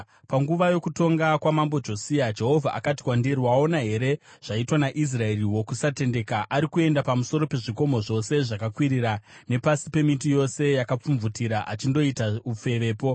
Panguva yokutonga kwaMambo Josia, Jehovha akati kwandiri, “Waona here zvaitwa naIsraeri wokusatendeka? Ari kuenda pamusoro pezvikomo zvose zvakakwirira nepasi pemiti yose yakapfumvutira achindoita ufevepo.